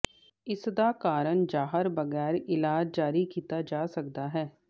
ਇਸ ਦਾ ਕਾਰਨ ਜ਼ਾਹਰ ਬਗੈਰ ਇਲਾਜ ਜਾਰੀ ਕੀਤਾ ਜਾ ਸਕਦਾ ਹੈ